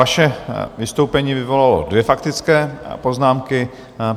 Vaše vystoupení vyvolalo dvě faktické poznámky.